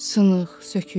Sınıq, sökük.